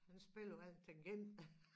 Han spiller alt han kan